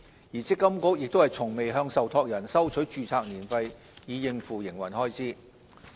而積金局亦從未向受託人收取註冊年費以應付營運開支。